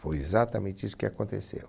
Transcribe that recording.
Foi exatamente isso que aconteceu.